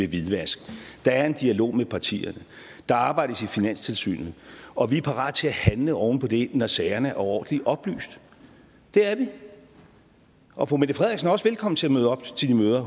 hvidvask der er en dialog med partierne der arbejdes i finanstilsynet og vi er parate til at handle oven på det når sagerne er ordentligt oplyst det er vi og fru mette frederiksen er også velkommen til at møde op til de møder